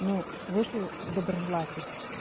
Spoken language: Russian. ну вышли доброжелатель